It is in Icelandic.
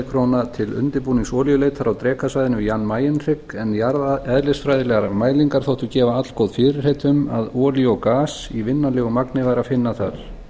króna til undirbúnings olíuleitar á drekasvæðinu við jan mayen hrygg en jarðeðlisfræðilegar mælingar þóttu gefa allgóð fyrirheit um að olía og gas í vinnanlegu magni væri að finna þar